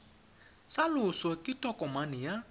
sa loso ke tokomane ya